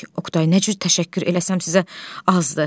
Oqtay: Nə cür təşəkkür eləsəm sizə azdır.